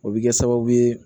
O bɛ kɛ sababu ye